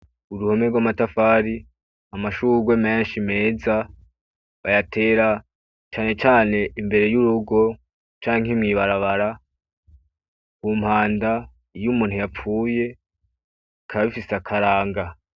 Uruhome rw'amatafari, amashurwe menshi meza bayatera cane cane imbere y'urugo canke mw'ibarabara, ku mpanda iyo umuntu yapfuye bikaba bifise akaranga.